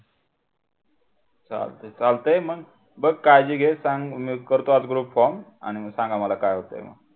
चालते चालते मग बघ काळजी घे सांग मी करतो आज group form आणि सांगा मला काय होते.